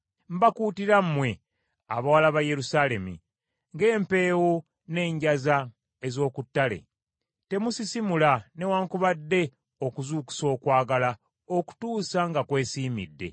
Mbakuutira mmwe abawala ba Yerusaalemi, ng’empeewo n’enjaza ez’oku ttale, temusisimula newaakubadde okuzuukusa okwagala okutuusa nga kwesiimidde.